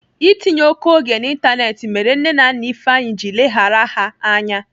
Itinye oké oge n'Ịntanetị mere nne na nna Ifeanyi ji leghara ha anya.